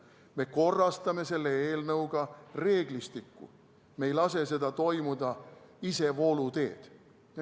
Me korrastame selle eelnõuga reeglistikku, me ei lase sel toimuda isevoolu teed.